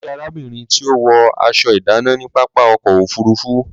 Mo rí arábìnrin tí ó wọ aṣọ ìdánà ní pápá ọkọ̀ òfurufú